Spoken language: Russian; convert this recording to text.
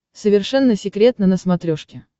совершенно секретно на смотрешке